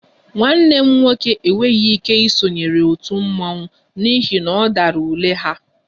Nwanne m nwoke enweghị ike isonyere otu mmọnwụ n'ihi na ọ dara ule ha